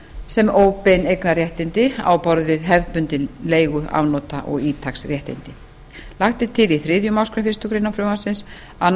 sem óbein eignarréttindi á borð við hefðbundin leigu afnota og ítaksréttindi lagt er til í þriðju málsgrein fyrstu grein frumvarpsins að